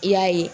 I y'a ye